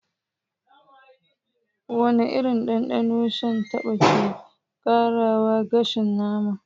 Wane irin dandano shan taba ke ƙarawa gasasshen nama?